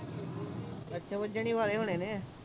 ਅੱਛਾ ਵੱਜਣ ਹੀ ਵਾਲੇ ਹੋਣੇ ਨੇ